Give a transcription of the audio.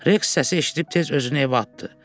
Reks səsi eşidib tez özünü evə atdı.